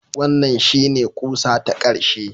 Wannan shine ƙusa ta ƙarshe